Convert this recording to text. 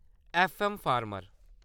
FM farmer